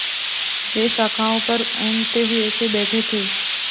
वे शाखाओं पर ऊँघते हुए से बैठे थे